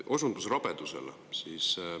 Te osundasite rabedusele.